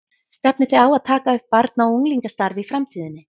Stefnið þið á að taka upp barna og unglingastarf í framtíðinni?